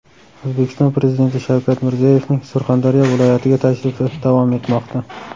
O‘zbekiston Prezidenti Shavkat Mirziyoyevning Surxondaryo viloyatiga tashrifi davom etmoqda.